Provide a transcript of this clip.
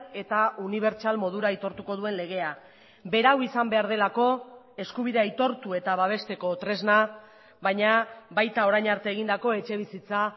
eta unibertsal modura aitortuko duen legea berau izan behar delako eskubidea aitortu eta babesteko tresna baina baita orain arte egindako etxebizitza